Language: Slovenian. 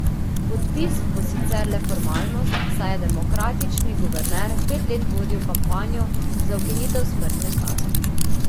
Podpis bo sicer le formalnost, saj je demokratični guverner pet let vodil kampanjo za ukinitev smrtne kazni.